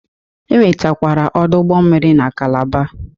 E nwekwara ọdụ ụgbọ mmiri na Kalaba.